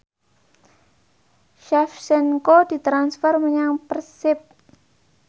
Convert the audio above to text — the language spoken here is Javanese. Shevchenko ditransfer menyang Persib